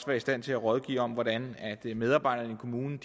være i stand til at rådgive om hvordan medarbejderne i kommunerne